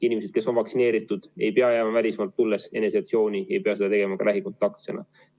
Inimesed, kes on vaktsineeritud, ei pea jääma välismaalt tulles eneseisolatsiooni, ei pea seda tegema ka lähikontaktsena.